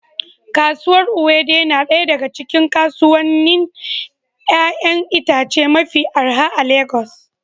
Kasuwar Owode na daya daga cikin kasuwannin 'ya'yan itace mafi arha a Legas